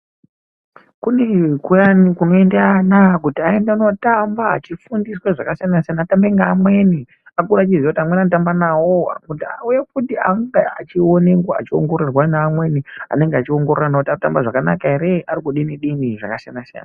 Kune kuyani kunoenda ana kuti eyende notamba achifundiswa zvakasiyana siyana atambe neamweni, akure echiziya kuti amweni anotamba nawo kuti auye kuti ange achionekwa achiongororwa neamweni anenge achiongorora ana kuti arikutamba zvakanaka ere arikudini dini zvakasiyana siyana.